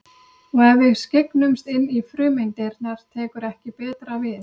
Og ef við skyggnumst inn í frumeindirnar tekur ekki betra við.